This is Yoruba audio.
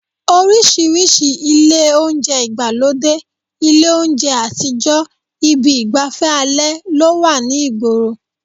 Oríṣiríṣi ilé oúnjẹ ìgbàlódé, ilé oúnjẹ àtijọ́, ibi ìgbàfẹ́ alẹ́ ló wà ní ìgboro